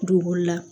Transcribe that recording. Dugukolo la